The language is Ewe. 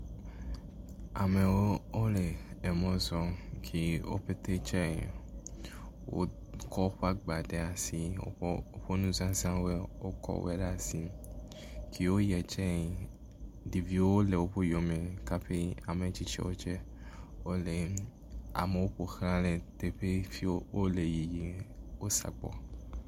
Amewo wole emɔ zɔm kɛ wo pɛtɛ tse. Wokɔ woƒe agba ɖe asi. Wokɔ woƒe nuzãzawo wokɔ wo ɖe asi. Kee woyietse, ɖeviwo le woƒe yɔme kafui ametsitsi tse wole amewo ƒo xa le teƒe siwo wole yiyim. Wo sɔgbɔ.